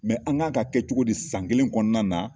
an kan ka kɛ cogo di san kelen kɔnɔna na